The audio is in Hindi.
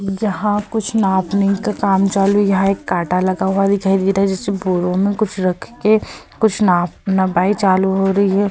जहां कुछ नापने का काम चालू है। यहां एक कांटा लगा हुआ दिखाई दे रहा है जिससे बोरों में कुछ रखके कुछ नाप नपाई चालू हो रही है।